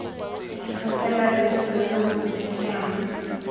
itlhophela loso lo lo ntsenyang